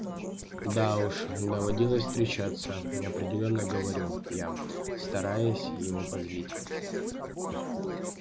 да уж доводилось встречаться неопределённо говорю я стараясь его позлить